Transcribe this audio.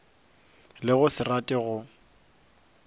le go se rate go